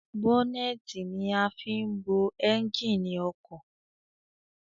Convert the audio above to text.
Bọ́nẹ́ẹ́tì ni a fin ń bo ẹnjìnì ọkọ̀